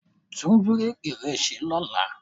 Tún búréèkì rẹ ṣe lọ́la.